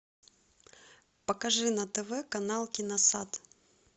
покажи на тв канал киносад